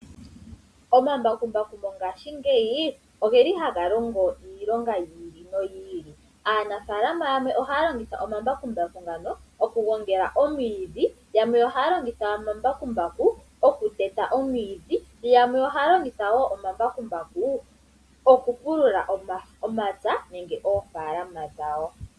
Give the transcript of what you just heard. Omambakumbaku mongashi ngeyi ogeli haga longo iilongo yi ili noyi ili. Aanafalama yamwe ohaya longitha omambakumbaku ngano okugongela omwiidhi yamwe ohaya longitha omambakumbaku okuteta omwiidhi noyamwe ohaya longitha omambakumbaku okupulula omapya nenge oofalama dhawo.